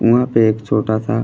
उहाँ पे एक छोटा सा --